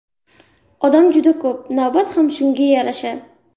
Odam juda ko‘p, navbat ham shunga yarasha.